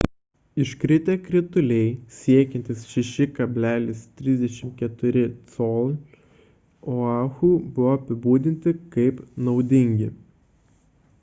iškritę krituliai siekiantys 6,34 col oahu buvo apibūdinti kaip naudingi